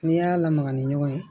N'i y'a lamaga ni ɲɔgɔn ye